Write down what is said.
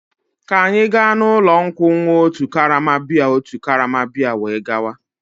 Ka anyị gaa n'ụlọ nkwụ ṅụọ otu karama bịya otu karama bịya were gawa.